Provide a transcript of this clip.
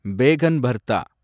Pegan Barda